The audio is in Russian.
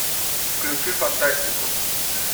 включи фантастику